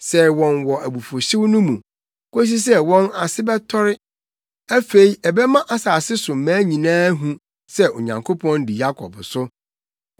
sɛe wɔn wɔ abufuwhyew mu, kosi sɛ wɔn ase bɛtɔre. Afei ɛbɛma asase so mmaa nyinaa ahu sɛ Onyankopɔn di Yakob so.